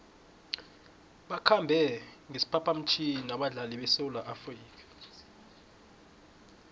bakhambe ngesiphaphamtjhini abadlali besewula afrika